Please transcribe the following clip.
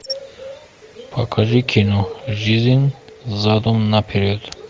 покажи кино жизнь задом на перед